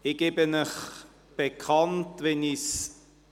Ich gebe Ihnen bekannt, wie ich